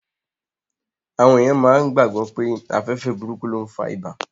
Àwọn èèyàn máa gbàgbọ̀ pé afẹ́fẹ́ burúkú ló n fa ibà